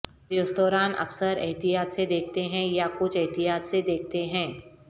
restaurant اکثر احتیاط سے دیکھتے ہیں یا کچھ احتیاط سے دیکھتے ہیں